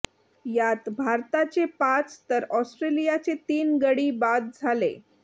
यात भारताचे पाच तर ऑस्ट्रेलियाचे तीन गडी बाद झाले